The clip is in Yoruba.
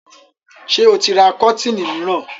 Ṣé ó ti ra kọ́tíìnì mìíràn?